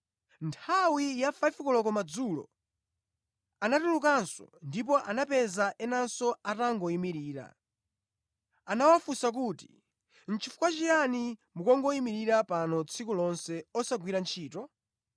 Nthawi ya 5 koloko madzulo anatulukanso ndipo anapeza enanso atangoyimirira. Anawafunsa kuti, ‘Chifukwa chiyani mukungoyimirira pano tsiku lonse osagwira ntchito?’